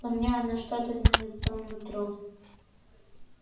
но мне она что-то не по нутру